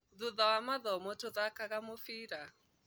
Thutha wa mathomo tũthakaga mũbira